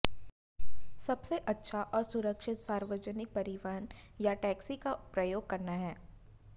सबसे अच्छा और सुरक्षित सार्वजनिक परिवहन या टैक्सी का प्रयोग करना है